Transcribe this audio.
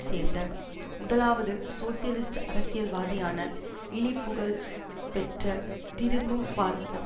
சேர்ந்த முதலாவது சோசியலிஸ்ட் அரசியல்வாதியான இழிபுகழ் பெற்ற திரும்பும் பார்ப்போம்